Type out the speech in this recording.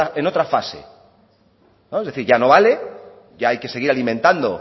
en otra fase es decir ya no vale ya hay que seguir alimentando